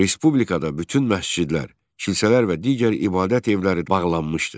Respublikada bütün məscidlər, kilsələr və digər ibadət evləri bağlanmışdı.